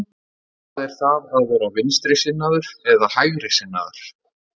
Hvað er það að vera vinstrisinnaður eða hægrisinnaður?